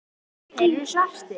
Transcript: Þeir eru svartir.